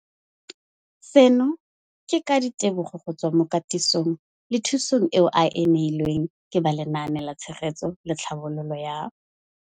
Seno ke ka ditebogo go tswa mo katisong le thu song eo a e neilweng ke ba Lenaane la Tshegetso le Tlhabololo ya